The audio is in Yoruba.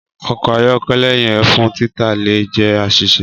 Ọkọ ayọkẹlẹ yẹn fun tita le jẹ aṣiṣe.